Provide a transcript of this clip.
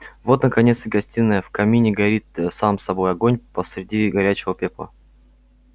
вот наконец и гостиная в камине горит сам собой огонь посреди горячего пепла